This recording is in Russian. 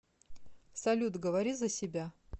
салют говори за себя